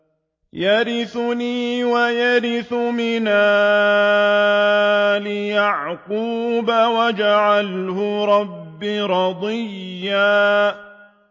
يَرِثُنِي وَيَرِثُ مِنْ آلِ يَعْقُوبَ ۖ وَاجْعَلْهُ رَبِّ رَضِيًّا